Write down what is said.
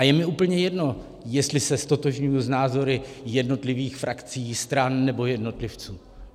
A je mi úplně jedno, jestli se ztotožňuji s názory jednotlivých frakcí, stran nebo jednotlivců.